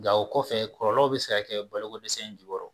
Nka o kɔfɛ kɔlɔlɔw bɛ se kɛ balokodɛsɛ in jukɔrɔ